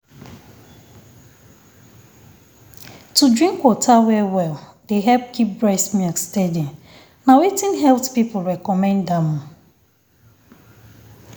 to drink water well-well dey help keep breast milk steady. na wetin health people recommend am